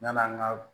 N nana an ka